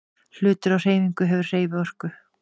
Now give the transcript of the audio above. Hlutur á hreyfingu hefur hreyfiorku.